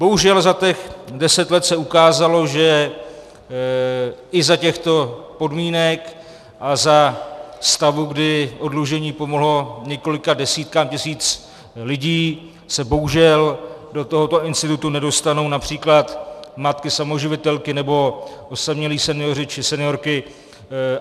Bohužel za těch deset let se ukázalo, že i za těchto podmínek a za stavu, kdy oddlužení pomohlo několika desítkám tisíc lidí, se bohužel do tohoto institutu nedostanou například matky samoživitelky nebo osamělí senioři či seniorky.